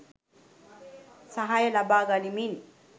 සහාය ලබා ගනිමින්,